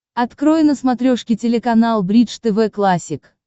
открой на смотрешке телеканал бридж тв классик